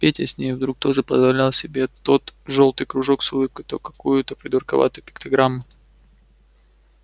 петя с ней вдруг тоже позволял себе то жёлтый кружок с улыбкой то какую-то придурковатую пиктограмму